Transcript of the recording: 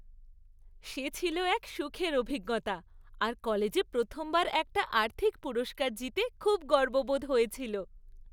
সে ছিল এক সুখের অভিজ্ঞতা, আর কলেজে প্রথমবার একটা আর্থিক পুরস্কার জিতে খুব গর্ববোধ হয়েছিল।